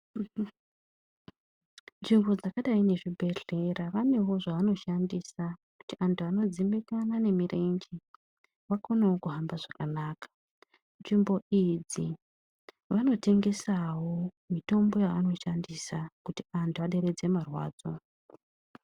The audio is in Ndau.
Nzvimbo dzakadayi ngezvibhedhlera vanewo zvavanoshandisa kuti antu anodzimbikana nemirenje vakonewo kuhamba zvakanaka nzvimbo idzi vanotengesawo mitombo yavanoshandisa kuti antu aderedze marwadzo.